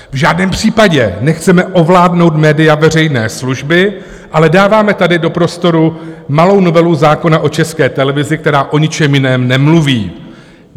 V žádném případě nechceme ovládnout média veřejné služby, ale dáváme tady do prostoru malou novelu zákona o České televizi, která o ničem jiném nemluví.